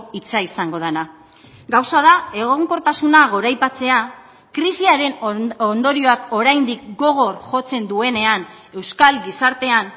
hitza izango dena gauza da egonkortasuna goraipatzea krisiaren ondorioak oraindik gogor jotzen duenean euskal gizartean